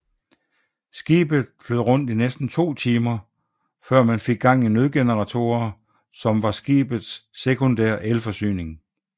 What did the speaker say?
Skibet flød rundt i næsten to timer før man fik gang i nødgeneratorer som var skibet sekundære elforsyning